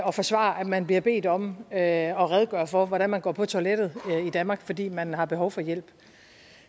og forsvare at man bliver bedt om at at redegøre for hvordan man går på toilettet i danmark fordi man har behov for hjælp